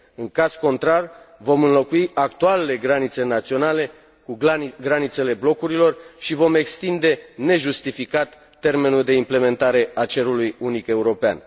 În caz contrar, vom înlocui actualele granițe naționale cu granițele blocurilor și vom extinde nejustificat termenul de implementare a cerului unic european.